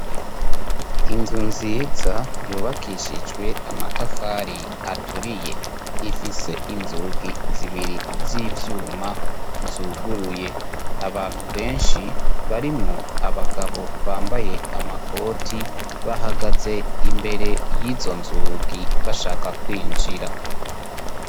Inzu nziza yubakishijwe amatafari aturiye ifise inzugi zibiri z'ivyuma zuguruye abantu benshi barimwo abagabo bambaye amakoti bahagaze imbere y'izo nzugi bashaka kwinjira.